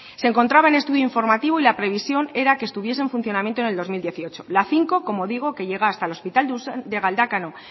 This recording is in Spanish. se encontraba en estudio informativo y la previsión era que estuviese en funcionamiento en el dos mil dieciocho la cinco como digo que llega hasta el hospital de galdakao